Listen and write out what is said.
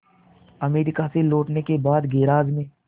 America से लौटने के बाद गैराज में